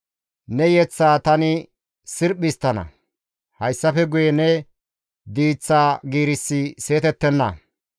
Ne yeththaa tani sirphi histtana; hayssafe guye ne diiththa giirissi seetettenna.